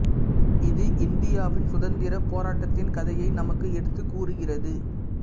இது இந்தியாவின் சுதந்திரப் போராட்டத்தின் கதையை நமக்கு எடுத்துக் கூறுகிறது